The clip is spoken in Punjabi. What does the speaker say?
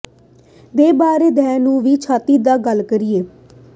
ਦੇ ਬਾਰੇ ਦਹ ਨੂੰ ਵੀ ਛਾਤੀ ਦਾ ਗੱਲ ਕਰੀਏ